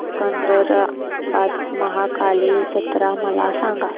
सिकंदराबाद महाकाली जत्रा मला सांगा